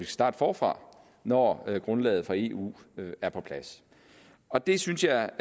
starte forfra når grundlaget fra eu er på plads og det synes jeg